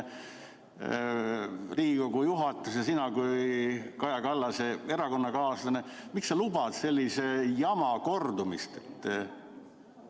Riigikogu juhatus ja sina kui Kaja Kallase erakonnakaaslane, miks sa lubad sellise jama kordumist?